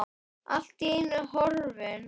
Allt í einu horfin.